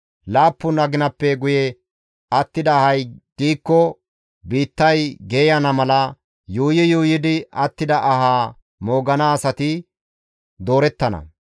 « ‹Laappun aginappe guye attida ahay diikko, biittay geeyana mala, yuuyi yuuyidi attida aha moogana asati doorettana.